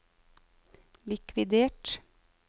likvidert